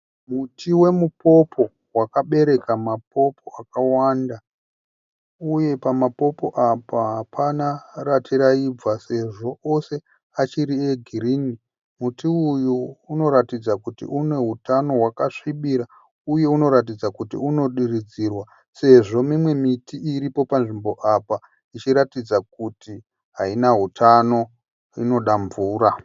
Muti wemu popo wakabereka mapopo akawanda. Uye pama popo apa hapana rati raibva sezvo ose achiri e girinhi. Muti uyu unoratidza kuti une hutano hwakasvibira. Uye unoratidza kuti unodiridzirwa sezvo mimwe miti iripo panzvimbo apa ichiratidza kuti haina hutano inoda mvura.